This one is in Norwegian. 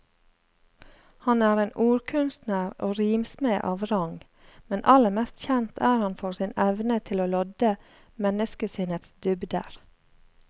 Han er en ordkunstner og rimsmed av rang, men aller mest kjent er han for sin evne til å lodde menneskesinnets dybder.